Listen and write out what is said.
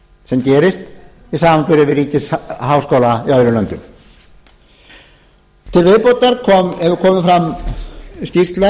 sem gerist í samanburði við ríkisháskóla í öðrum löndum til viðbótar hefur komið fram